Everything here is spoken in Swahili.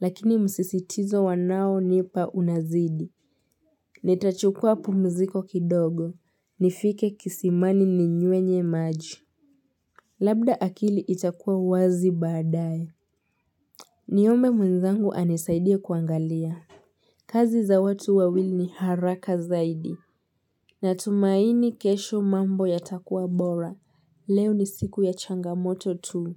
Lakini msisitizo wanaonipa unazidi Nitachukua pumziko kidogo nifike kisimani ninywe maji Labda akili itakuwa wazi baadaye Niombe mwenzangu anisaidia kuangalia kazi za watu wawili ni haraka zaidi Natumaini kesho mambo yatakuwa bora Leo ni siku ya changamoto tu.